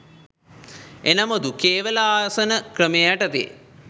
එනමුදු කේවළ ආසන ක්‍රමය යටතේ